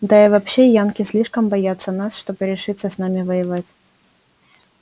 да и вообще янки слишком боятся нас чтобы решиться с нами воевать